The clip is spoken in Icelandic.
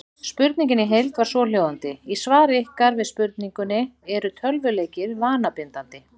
Spurningin í heild var svohljóðandi: Í svari ykkar við spurningunni Eru tölvuleikir vanabindandi?